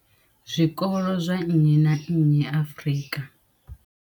Zwikolo zwa nnyi na nnyi Afrika.